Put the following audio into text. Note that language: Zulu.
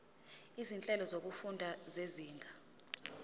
izinhlelo zokufunda zezinga